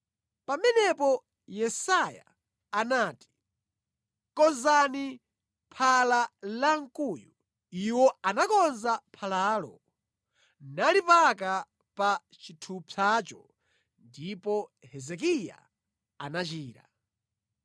Pamenepo Yesaya anati, “Konzani phala lankhuyu.” Iwo anakonza phalalo nalipaka pa chithupsacho ndipo Hezekiya anachira.